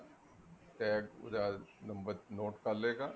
tag ਪੂਰਾ number note ਕਰਲੇਗਾ